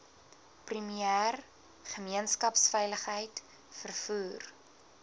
premier gemeenskapsveiligheid vervoer